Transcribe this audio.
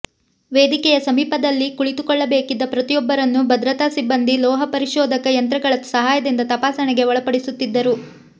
ವೇದಿಕೆಯ ಸಮೀಪದಲ್ಲಿ ಕುಳಿತುಕೊಳ್ಳಬೇಕಿದ್ದ ಪ್ರತಿಯೊಬ್ಬರನ್ನೂ ಭದ್ರತಾ ಸಿಬ್ಬಂದಿ ಲೋಹ ಪರಿಶೋಧಕ ಯಂತ್ರಗಳ ಸಹಾಯದಿಂದ ತಪಾಸಣೆಗೆ ಒಳಪಡಿಸುತ್ತಿದ್ದರು